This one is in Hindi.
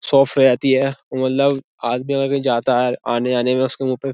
शॉफ पे आती है औ मल्लव आदमी अगर कहीं जाता है आने जाने में उसके मुँह पे --